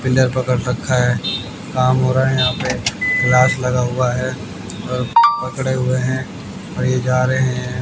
Pillar पकड़ रखा है काम हो रहा है यहां पे ग्लास लगा हुआ है और पकड़े हुए है और ये जा रहे है।